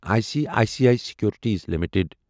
I C I C I securities limited